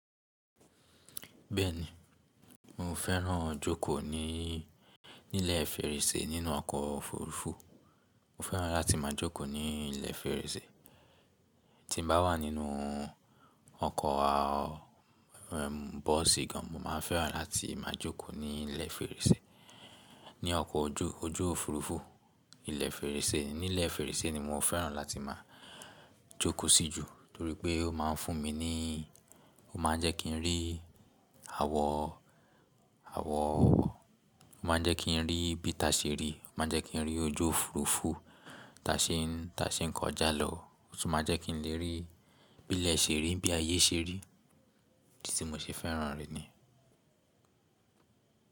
Bẹ́ẹ̀ni, mo fẹ́ràn jókòó ní ilẹ̀ fèrèsé nínú ọkọ̀ òfurufú. Mo fẹ́ràn láti máa jókòó ní ilẹ̀ fèrèsé. Tí mo bá wà nínú ọkọ̀ bọ́ọ̀sì gan, mo máa fẹ́ràn láti máa jókòó ní ilẹ̀ fèrèsé. Ní ọkọ̀ ojú òfurufú, ilẹ̀ fèrèsé, ní ilẹ̀ fèrèsé ni mo fẹ́ràn láti máa jókòó sí jù, torí pé ó máa ń fún mi ní ó máa jẹ́ kí n rí àwọ̀, ó máa jẹ́ kí n rí bí itá ṣe rí, ó máa jẹ́ kí n rí ojú òfurufú, tàá ṣe n kọjá lọ, ó tún máa jẹ́ kí n lè rí bí ilẹ̀ ṣe rí, bí ayé ṣe rí, èyí tí mo ṣe fẹ́ràn rí ni.